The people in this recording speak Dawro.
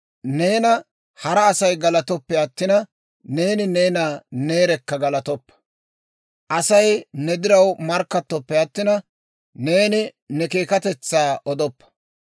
Neena hara Asay galatooppe attina, neeni neena neerekka galatoppa; Asay ne diraw markkattoppe attina, neeni ne keekkatetsaa odoppa.